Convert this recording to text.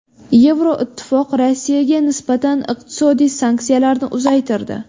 Yevroittifoq Rossiyaga nisbatan iqtisodiy sanksiyalarni uzaytirdi.